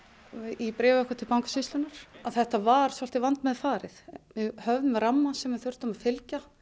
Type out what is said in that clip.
í bréfi okkar til Bankasýslunnar að þetta var svolítið vandmeðfarið við höfðum ramma sem við þurftum að fylgja